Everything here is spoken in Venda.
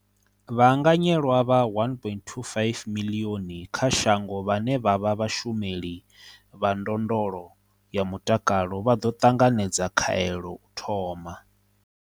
Vhaanganyelwa vha 1.25 miḽioni kha shango vhane vha vha vhashumeli vha ndondolo ya mutakalo vha ḓo ṱanganedza khaelo u thoma.